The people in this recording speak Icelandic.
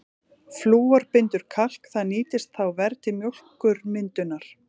Flúor bindur kalk, það nýtist þá verr til mjólkurmyndunar.